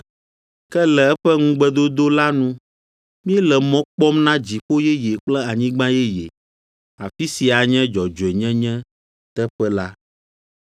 Ke le eƒe ŋugbedodo la nu, míele mɔ kpɔm na dziƒo yeye kple anyigba yeye, afi si anye dzɔdzɔenyenyeteƒe la.